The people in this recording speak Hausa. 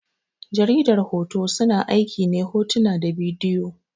Jaridar hoto, suna aiki ne hotuna da bidiyoyi.